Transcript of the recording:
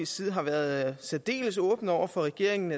side har været særdeles åbne over for regeringen